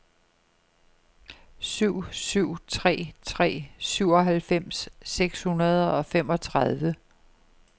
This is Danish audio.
syv syv tre tre syvoghalvfems seks hundrede og femogtredive